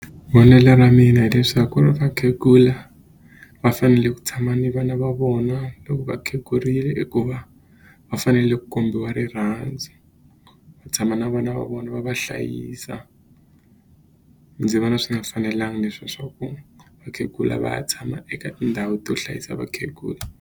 Vonelo ra mina hileswaku ri vakhegula va fanele ku tshama ni vana va vona loko va khegurile hikuva va fanele ku kombiwa rirhandzu va tshama na vana va vona va va hlayisa ndzi vona swi nga fanelanga leswiya swa ku vakhegula va ya tshama eka tindhawu to hlayisa vakhegula.